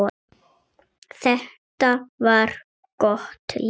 Þetta var gott líf.